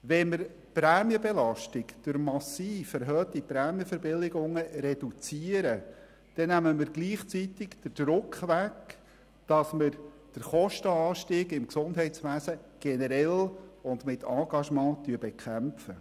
Wenn wir die Prämienbelastung durch massiv erhöhte Prämienverbilligungen reduzieren, nehmen wir gleichzeitig den Druck weg, den Kostenanstieg im Gesundheitswesen generell und mit Engagement zu bekämpfen.